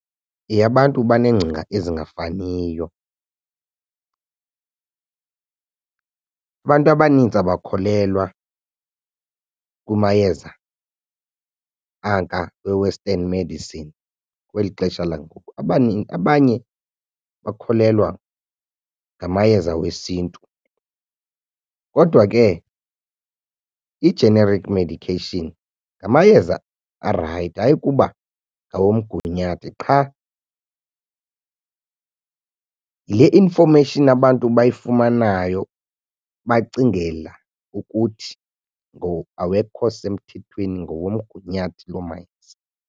Yeyabantu banengcinga ezingafaniyo. Abantu abanintsi abakholelwa kumayeza anka we-western medicine kweli xesha langoku. Abanye bakholelwa ngamayeza wesiNtu kodwa ke i-generic medication ngamayeza arayithi ayikuba ngawomgunyathi qha yile information abantu bayifumanayo bacingela ukuthi awekho semthethweni ngawomgunyathi loo mayeza.